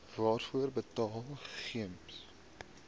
waarvoor betaal gems